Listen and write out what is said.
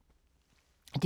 DR2